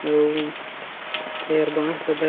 अउ एहर बास ल धर --